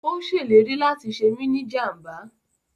Ó ṣèlérí láti ṣe mí ni jàmbá